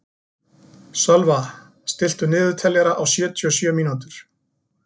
Sölva, stilltu niðurteljara á sjötíu og sjö mínútur.